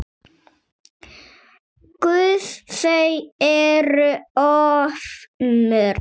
Guð, þau eru of mörg.